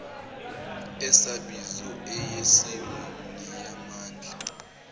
esabizo eyesimo neyamandla